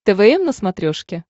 твм на смотрешке